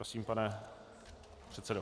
Prosím, pane předsedo.